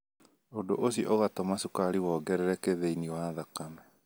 Ũndũ ũcio ũgatũma cukari wongerereke thĩinĩ wa thakame.